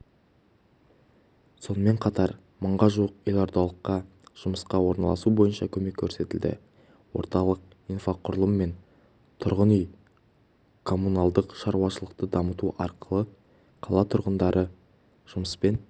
сонымен қатар мыңға жуық елордалыққа жұмысқа орналасу бойынша көмек көрсетілді орталық инфрақұрылым мен тұрғын үй-коммуналдық шарушылықты дамыту арқылы қала тұрғындарын жұмыспен